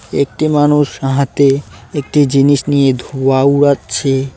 একটি মানুষ হা-হাতে একটি জিনিস নিয়ে ধুয়া উড়াচ্ছে।